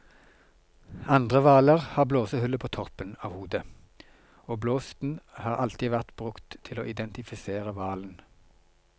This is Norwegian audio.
Andre hvaler har blåsehullet på toppen av hodet, og blåsten har alltid vært brukt til å identifisere hvalen.